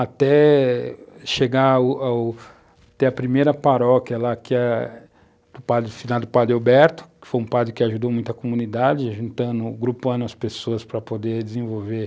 até chegar o o até a primeira paróquia lá que é do padre, finado padre Alberto, que foi um padre que ajudou muito a comunidade, juntando, agrupando as pessoas para poder desenvolver